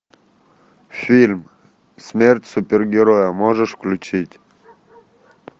фильм смерть супергероя можешь включить